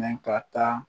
Mɛ ka taa